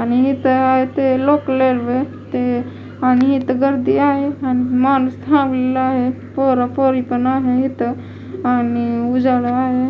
आणि इथं ते लोकल रेल्वे ते आणि इथं गर्दी आहे आणि माणूस थांबलेला आहे पोरं पोरी पण आहे इथं आणि उजाला आहे.